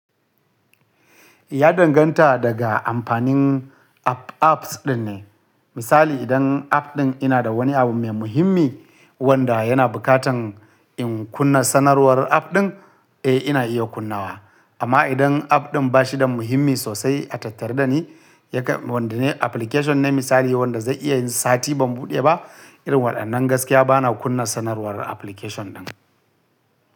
Ya danganta daga amfanin app apps ɗin ne. Misali idan app ɗin yana da wani abu mai muhimmi wanda yana bukatan in kunna sanarwar app ɗin, eh ina iya kunnawa. Amma idan app ɗin ba shi da muhimmi sosai a tattare da ni, yake wanda ne application ne misali wanda zai iya sati ban buɗe ba, irin waɗannan gaskiya bana kunna sanarwar application ɗin.